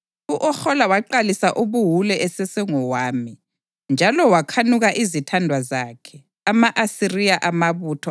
U-Ohola waqalisa ubuwule esesengowami; njalo wakhanuka izithandwa zakhe, ama-Asiriya, amabutho